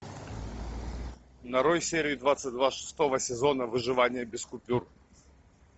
нарой серию двадцать два шестого сезона выживание без купюр